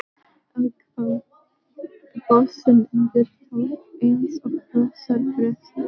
Ákaft bossinn undir tók, eins og hrossabrestur!